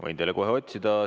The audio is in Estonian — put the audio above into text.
Võin teile kohe otsida.